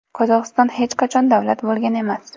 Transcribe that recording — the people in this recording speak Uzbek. Qozog‘iston hech qachon davlat bo‘lgan emas.